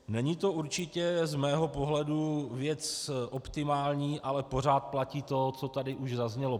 Není to určitě z mého pohledu věc optimální, ale pořád platí to, co tady už zaznělo.